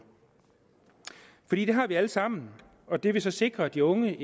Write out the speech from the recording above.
har vi alle sammen og det ville sikre de unge